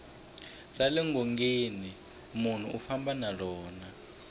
rale ngongeni nmunhu u famba na rona